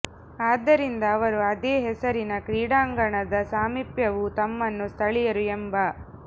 ಆದ್ದರಿಂದ ಅವರು ಅದೇ ಹೆಸರಿನ ಕ್ರೀಡಾಂಗಣದ ಸಾಮೀಪ್ಯವು ತಮ್ಮನ್ನು ಸ್ಥಳೀಯರು ಎಂಬ